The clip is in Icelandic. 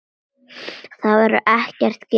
Þar verður ekkert gefið eftir.